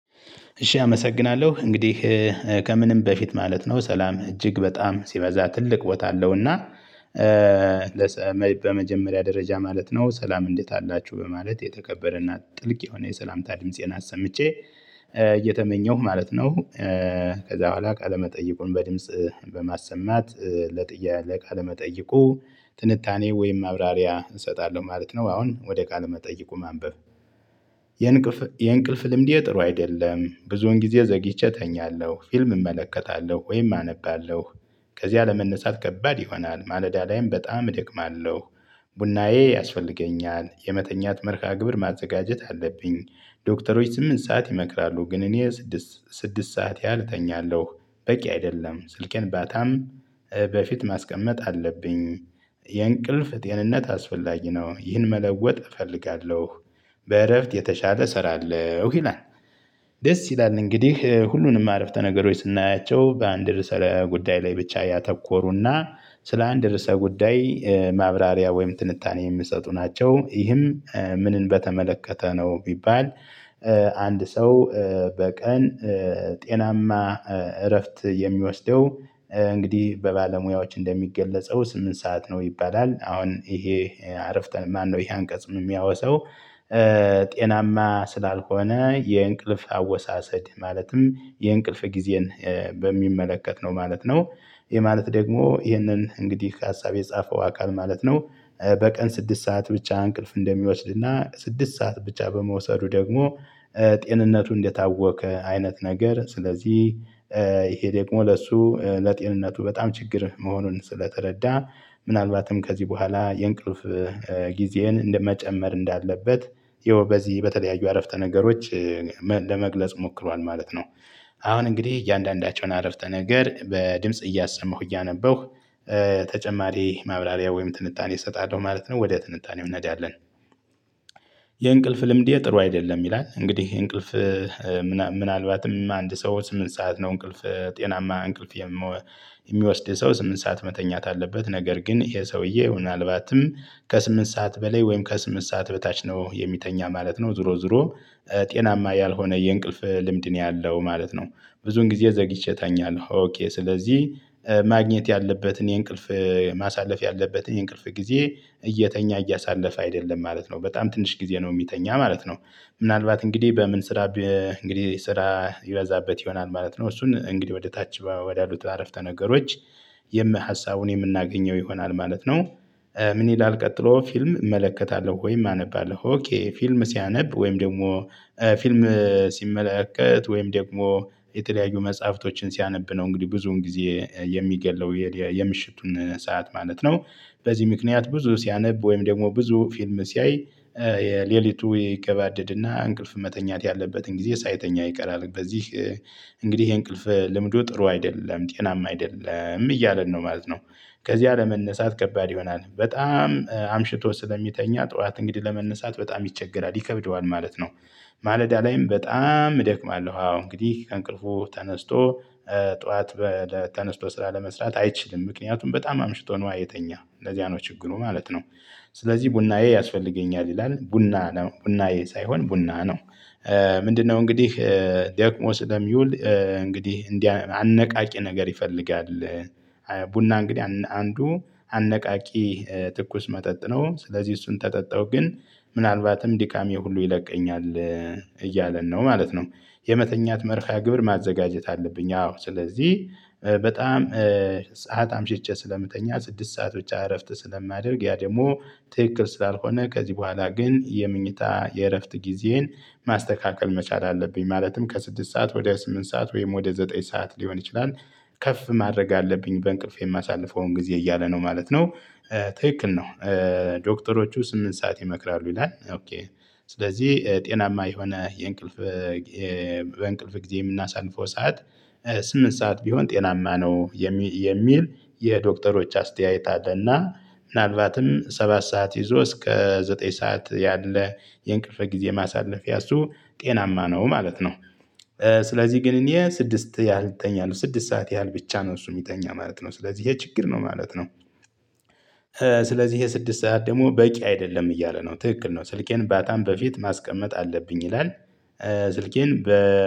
እሺ አመሰግናለሁ እንግዲህ ከምንም በፊት ማለት ነው ሰላም እጅግ በጣም ሲመዛ ትልቅ ቦታ አለውና። እና በመጀመሪያ ደረጃ ማለት ነው ሰላም እንዴት አላችሁ በማለት የተከበረ እና ጥልቅ የሆነ የሰላምታ ድምፄን አሰምቼ እየተመኘሁ ማለት ነው። ከዛ በኋላ ቃለ መጠይቁን በድምጽ በማሰማት ለጥያ ለቃለመጠይቁ ትንታኔ ወይም ማብራሪያ እሰጣለሁ ማለት ነው። አሁን ወደ ቃል መጠይቁ ማንበብ የእንቅልፍ ልምዴ ጥሩ አይደለም። ብዙውን ጊዜ ዘግይቼ እተኛለሁ ፊልም እመለከታለሁ ወይም አነባለሁ። ከዚያ ለመነሳት ከባድ ይሆናል ማለዳ ላይም በጣም እደክማለሁ። ቡናዬ ያስፈልገኛል የመተኛት መርሃግብር ማዘጋጀት አለብኝ። ዶክተሮች ስምንት ሰዓት ይመክራሉ። ግን እኔ ስድስት ስድስት ሰዓት ያህል እተኛለሁ በቂ አይደለም። ስልኬን ባታም በፊት ማስቀመጥ አለብኝ። የእንቅልፍ ጤንነት አስፈላጊ ነው ይህን መለወጥ እፈልጋለሁ። በእረፍት የተሻለ እሰራለሁ ይላል። ደስ ይላል እንግዲህ ሁሉንም አረፍተ ነገሮች ስናያቸው በአንድ ርዕሰ ጉዳይ ላይ ብቻ ያተኮሩና ስለ አንድ ርዕሰ ጉዳይ ማብራሪያ ወይም ትንታኔ የሚሰጡ ናቸው። ይህም ምንን በተመለከተ ነው ቢባል? አንድ ሰው በቀን ጤናማ እረፍት የሚወስደው እንግዲህ በባለሙያዎች እንደሚገለጸው ስምንት ሰዓት ነው ይባላል። አሁን ይሄ አረፍተ ማነው ይሄ አንቀጽ የሚያወሰው? ጤናማ ስላልሆነ የእንቅልፍ አወሳሰድ ማለትም የእንቅልፍ ጊዜን በሚመለከት ነው ማለት ነው። ይሄ ማለት ደግሞ ይሄንን እንግዲህ ከሀሳብ የጻፈው አካል ማለት ነው። በቀን ስድስት ሰዓት ብቻ እንቅልፍ እንደሚወስድና ስድስት ሰዓት ብቻ በመውሰዱ ደግሞ ጤንነቱ እንደታወቀ አይነት ነገር ስለዚህ። ይሄ ደግሞ ለሱ ለጤንነቱ በጣም ችግር መሆኑን ስለተረዳ ምናልባትም ከዚህ በኋላ የእንቅልፍ ጊዜህን እንደመጨመር እንዳለበት። ይኸው በዚህ በተለያዩ አረፍተ ነገሮች ለመግለጽ ሞክሯል ማለት ነው። አሁን እንግዲህ እያንዳንዳቸውን አረፍተ ነገር በድምጽ እያሰማሁ እያነበሁ ተጨማሪ ማብላሪያ ወይም ትንታኔ እሰጣለሁ ማለት ነው። ወደ ትንታኔው እንሄዳለን። የእንቅልፍ ልምዴ ጥሩ አይደለም። ይላል እንግዲህ እንቅልፍ ምናልባትም አንድ ሰው ስምንት ሰዓት ነው እንቅልፍ ጤናማ እንቅልፍ የሚወስድ የሰው ስምንት ሰዓት መተኛት አለበት ነገር ግን ይሄ ሰውዬ ምናልባትም ከስምንት ሰዓት በላይ ወይም ከስምንት ሰዓት በታች ነው የሚተኛ ማለት ነው። ዙሮ ዙሮ ጤናማ ያልሆነ የእንቅልፍ ልምድ ነው ያለው ማለት ነው። ብዙን ጊዜ ዘግይቼ እተኛለሁ ኦኬ ስለዚህ ማግኘት ያለበትን የእንቅልፍ ማሳለፍ ያለበትን እንቅልፍ ጊዜ እየተኛ እያሳለፈ አይደለም ማለት ነው። በጣም ትንሽ ጊዜ ነው የሚተኛ ማለት ነው። ምናልባት እንግዲህ በምን ስራ እንግዲህ ስራ ይበዛበት ይሆናል ማለት ነው። እሱን እንግዲህ ወደ ታች ወዳሉት አረፍተ ነገሮች የምን ሀሳቡን የምናገኘው ይሆናል ማለት ነው። ምን ይላል? ቀጥሎ ፊልም እመለከታለሁ ወይም አነባለሁ ፊልም ሲያነብ ወይም ደግሞ ፊልም ሲመለከት ወይም ደግሞ የተለያዩ መጽሐፍቶችን ሲያነብ ነው እንግዲህ ብዙውን ጊዜ የሚገለው የምሽቱን ሰዓት ማለት ነው። በዚህ ምክንያት ብዙ ሲያነብ ወይም ደግሞ ብዙ ፊልም ሲያይ የሌሊቱ ይገባደድና እንቅልፍ መተኛት ያለበትን ጊዜ ሳይተኛ ይቀራል። በዚህ እንግዲህ ይሄ እንቅልፍ ልምዶ ጥሩ አይደለም ጤናማ አይደለም እያለን ነው ማለት ነው። ከዚያ ለመነሳት ከባድ ይሆናል በጣም አምሽቶ ስለሚተኛ ጠዋት እንግዲህ ለመነሳት በጣም ይቸገራል ይከብደዋል ማለት ነው። ማለዳ ላይም በጣም እደክማለሁ አዎ እንግዲህ ከእንቅልፉ ተነስቶ ጠዋት በተነስቶ ስራ ለመስራት አይችልም ምክንያቱም በጣም አምሽቶ ነው የተኛው ለዚያ ነው ችግሩ ማለት ነው። ስለዚህ ቡናዬ ያስፈልገኛል ይላል ቡና ቡናዬ ሳይሆን ቡና ነው። ምንድነው? እንግዲህ ደክሞ ስለሚውል እንግዲህ እንዲህ አነቃቂ ነገር ይፈልጋል። ቡና እንግዲህ አንዱ አነቃቂ ትኩስ መጠጥ ነ። ስለዚህ እሱን ተጠጣው ግን ምናልባትም ድካሜ ሁሉ ይለቀኛል እያለን ነው ማለት ነው። የመተኛት መርሃ ግብር ማዘጋጀት አለብኝ አዎ ስለዚህ በጣም ሰዓት አምሽቼ ስለምተኛ ስድስት ሰዓት ብቻ እረፍት ስለማደርግ ያ ደግሞ ትክክል ስላልሆነ ከዚህ በኋላ ግን የምንኝታ የእረፍት ጊዜን ማስተካከል መቻል አለብኝ ማለትም ከስድስት ሰዓት ወደ ስምንት ሰዓት ወይም ወደ ዘጠኝ ሰዓት ሊሆን ይችላል። ከፍ ማድረግ አለብኝ በእንቅልፌ የማሳልፈውን ጊዜ እያለ ነው ማለት ነው። ትክክል ነው። ዶክተሮቹ ስምንት ሰዓት ይመክራሉ ይላል። ኦኬ ስለዚህ ጤናማ የሆነ የእንቅልፍ በእንቅልፍ ጊዜ የምናሳንፈው ሰዓት ስምንት ሰዓት ቢሆን ጤናማ ነው የሚል የሚል የዶክተሮች አስተያየት አለና ምናልቫትም ሰባት ሰዓት ይዞ እስከ ዘጠኝ ሰዓት ያለ የእንቅልፍ ጊዜ ማሳለፊያ እሱ ጤናማ ነው ማለት ነው። ስለዚህ ግን እኔ ስድስት ያህል እተኛለሁ ስድስት ሰዓት ያህል ብቻ ነው እሱ የሚጠኛ ማለት ነ። ስለዚህ የችግር ነው ማለት ነው። ስለዚህ ይሄ ስድስት ሰዓት ደግሞ በቂ አይደለም እያለ ነው ትክክል ነው ስልኬን ባታም በፊት ማስቀመጥ አለብኝ ይላል። ስልኬን በ